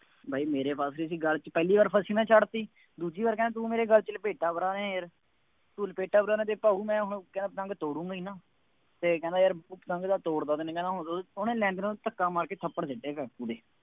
ਬਾਈ ਮੇਰੇ ਫਸ ਗਈ ਸੀ ਗਲ ਚ, ਪਹਿ਼ਲੀ ਵਾਰ ਫਸੀ ਮੈਂ ਛੱਡ ਦਿੱਤੀ। ਦੂਜੀ ਵਾਰ ਕਹਿੰਦਾ ਤੂੰ ਮੇਰੇ ਗਲ ਚ ਲਪੇਟਾ ਹੁਣ ਲਪੇਟਾ ਵਗੈਰਾ ਜੇ ਖਾਊ, ਮੈਂ ਹੁਣ, ਕਹਿੰਦਾ ਪਤੰਗ ਤੋੜੂੰਗਾ ਹੀ ਨਾ, ਅਤੇ ਕਹਿੰਦਾ ਯਾਰ ਪਤੰਗ ਤਾਂ ਤੋੜ ਤਾਂ ਤੰਨੇ ਕਹਿੰਦਾ ਹੁਣ, ਉਹਨੇ ਨਾਲ ਧੱਕਾ ਮਾਰ ਕੇ ਥੱਪੜ ਸੁੱਟਿਆ ਕਾਕੂ ਦੇ